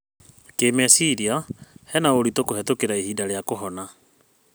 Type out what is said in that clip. Kĩmeciria, hena ũritu kũhetũkĩra ihinda rĩa kũhona.